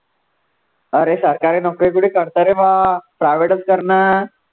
अरे सरकारी नोकरी कुठे करता रे बा private चं करनं